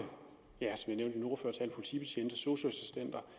politibetjente sosu assistenter